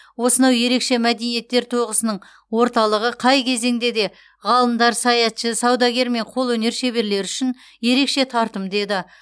осынау ерекше мәдениеттер тоғысының орталығы қай кезеңде де ғалымдар саятшы саудагер мен қолөнер шеберлері үшін ерекше тартымды еді